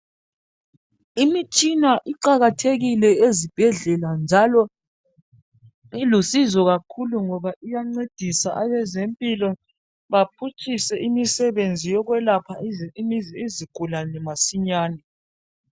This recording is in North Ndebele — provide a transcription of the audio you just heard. Imitshina iqakathekile ezibhedlela njalo ilusizo kakhulu ngoba iyancedisa abezempilo baphutshise imisebenzi yokulapha izigulane masinyane.